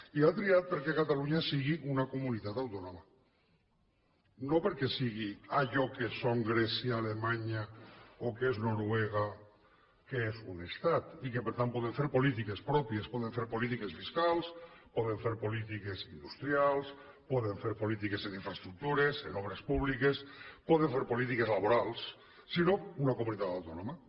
i ha triat perquè catalunya sigui una comunitat autònoma no perquè sigui allò que són grècia alemanya o que és noruega que són un estat i que per tant poden fer polítiques pròpies poden fer polítiques fiscals poden fer polítiques industrials poden fer polítiques en infraestructures en obres públiques poden fer polítiques laborals sinó una comunitat autònoma